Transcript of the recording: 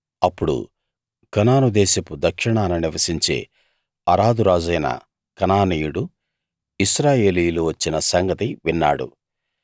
అప్పుడు కనాను దేశపు దక్షిణాన నివసించే అరాదు రాజైన కనానీయుడు ఇశ్రాయేలీయులు వచ్చిన సంగతి విన్నాడు